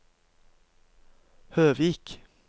Høvik